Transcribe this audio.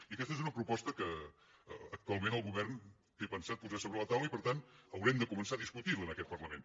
i aquesta és una proposta que actualment el govern té pensat posar sobre la taula i per tant haurem de començar a discutir la en aquest parlament